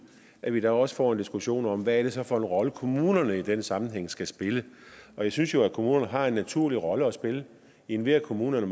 at vi der også får en diskussion om hvad det så er for en rolle kommunerne i den sammenhæng skal spille og jeg synes jo at kommunerne har en naturlig rolle at spille enhver kommune er